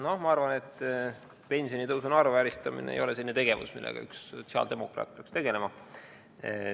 No ma arvan, et pensionitõusu naeruvääristamine ei ole selline tegevus, millega üks sotsiaaldemokraat peaks tegelema.